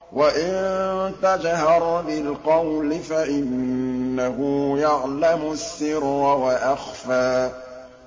وَإِن تَجْهَرْ بِالْقَوْلِ فَإِنَّهُ يَعْلَمُ السِّرَّ وَأَخْفَى